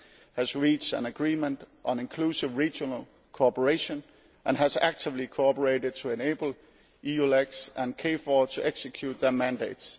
has reached an agreement on inclusive regional cooperation and has actively cooperated to enable EULEX and KFOR to execute their mandates.